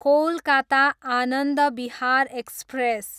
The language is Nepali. कोलकाता, आनन्द विहार एक्सप्रेस